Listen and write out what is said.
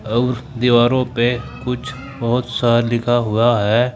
अउर दीवारों पे कुछ बहोत सा लिखा हुआ है।